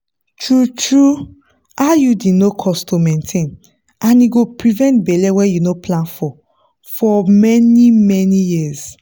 true-true iud no cost to maintain and e go prevent belle wey you no plan for for many-many years.